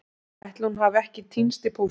Ætli hún hafi ekki týnst í pósti?